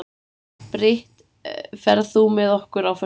Brit, ferð þú með okkur á föstudaginn?